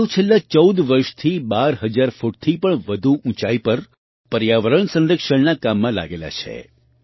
તેઓ છેલ્લાં 14 વર્ષથી 12000 ફૂટથી પણ વધુ ઊંચાઈ પર પર્યાવરણ સંરક્ષણના કામમાં લાગેલા છે